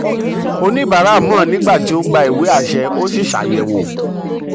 oníbàárà mọ um nígbà tó um gba ìwé àṣẹ ó sì ṣe àyẹ̀wò. um